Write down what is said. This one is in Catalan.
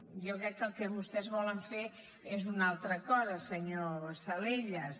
jo crec que el que vostès volen fer és una altra cosa senyor salellas